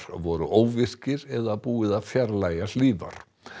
voru óvirkir eða búið að fjarlægja hlífar